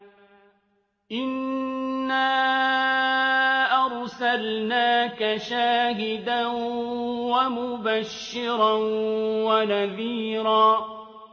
إِنَّا أَرْسَلْنَاكَ شَاهِدًا وَمُبَشِّرًا وَنَذِيرًا